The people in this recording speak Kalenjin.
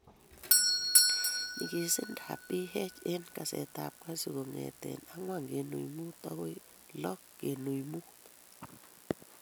nyigiisindap pH eng' kesetap kasyu kong'eetye 4.5 agoi 6.5